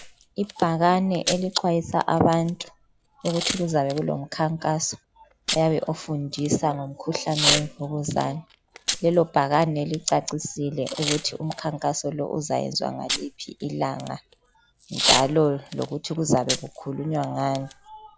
Ibhakane elixwayisa abantu ukuthi kuzabe kulomkhankaso oyabe ufundisa ngomkhuhlane wemvukuza. Lelo bhakane licacisile ukuthi lowo mkhankaso lowo uzenziwa ngaliphi ilanga njalo lokuthi kuzabe kukhulunywa ngani.